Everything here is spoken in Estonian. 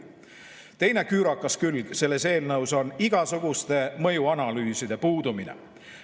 Teine küürakas külg selles eelnõus on igasuguste mõjuanalüüside puudumine.